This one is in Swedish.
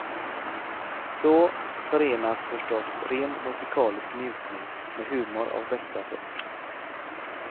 Så förenas förstås ren musikalisk njutning med humor av bästa sort.